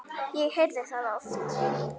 Ég heyrði það oft.